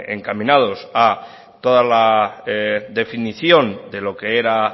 encaminados a toda la definición de lo que era